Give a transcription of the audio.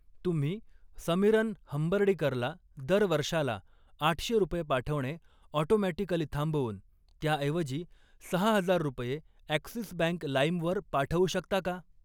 तुम्ही समीरन हंबर्डीकरला दर वर्षाला आठशे रुपये पाठवणे ऑटोमॅटिकली थांबवून, त्याऐवजी सहा हजार रुपये ॲक्सिस बँक लाईम वर पाठवू शकता का?